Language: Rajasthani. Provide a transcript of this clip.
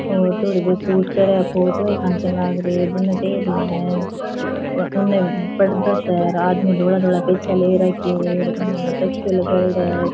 और थोड़ी देर शूट करे फोटुआं ही खांचन लाग रया है उरने टेबला है अर उन्नें पर्दा सा है अर आदमी धोला धोला पर्चा ले राख्या है अर उन्ने तकियों लगाएडा है अर।